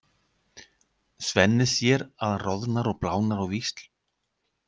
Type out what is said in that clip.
Svenni sér að hann roðnar og blánar á víxl.